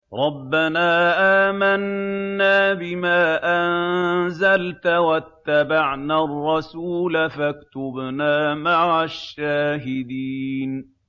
رَبَّنَا آمَنَّا بِمَا أَنزَلْتَ وَاتَّبَعْنَا الرَّسُولَ فَاكْتُبْنَا مَعَ الشَّاهِدِينَ